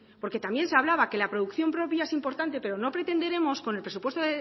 porque también se hablaba de que la producción propia es importante pero no pretenderemos con el presupuesto